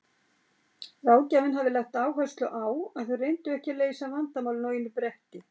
Ráðgjafinn hafði lagt áherslu á að þau reyndu ekki að leysa vandamálin á einu bretti.